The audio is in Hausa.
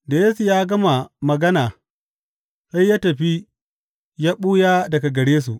Da Yesu ya gama magana, sai ya tafi ya ɓuya daga gare su.